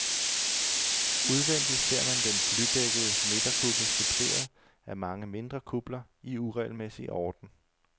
Udvendig ser man den blydækkede midterkuppel suppleret af mange mindre kupler i uregelmæssig orden.